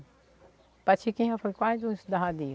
Padre Chiquinho já foi quase um estudadeiro.